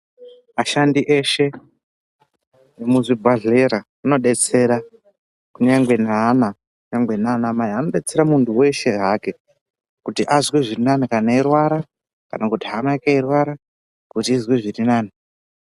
Ashandi eshe emuzvibhadhlera anodetsera kunyangwe naana kana naanamai, anodetsera munthu weshe hake kuti azwe zviri nani kana eirwara kana kuti hama yake yeirwara kuti izwe zviri nani.